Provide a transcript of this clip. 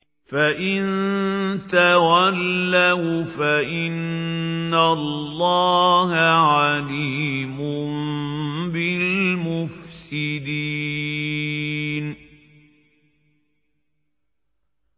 فَإِن تَوَلَّوْا فَإِنَّ اللَّهَ عَلِيمٌ بِالْمُفْسِدِينَ